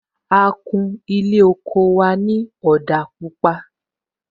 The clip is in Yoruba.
A kún Ilé oko wa ni òdà pupa